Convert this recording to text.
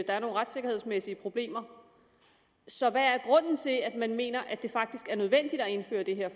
er nogle retssikkerhedsmæssige problemer så hvad er grunden til at man mener at det faktisk er nødvendigt at indføre det her